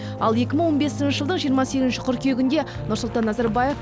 ал екі мың он бесінші жылдың жиырма сегізінші қыркүйегінде нұрсұлтан назарбаев